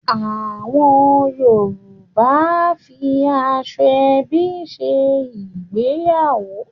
Awon Yoruba a fi Asoebi se igbeyawo